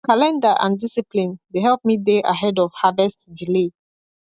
calendar and discipline dey help me dey ahead of harvest delay